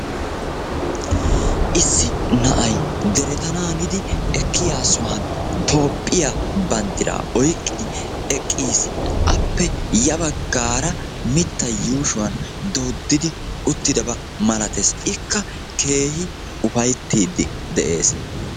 Issi na"ay deretanaanidi ekkiyaa sohuwan Toophphiyaa banddiraa oyqqidi eqqis. Appe ya baggaara mittay yuushuwan dooddidi uttidaba malatees. Ikka keehi ufayttiiddi de'ees.